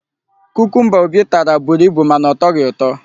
kukumba Obi tara buru ibu mana ọ tọghị ụtọ.